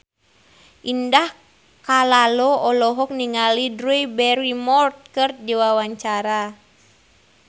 Indah Kalalo olohok ningali Drew Barrymore keur diwawancara